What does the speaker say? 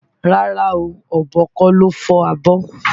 Rárá o, ọ̀bọ kọ́ ló fọ́ abọ́.